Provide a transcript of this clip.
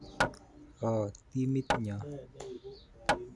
Oo timit nyo.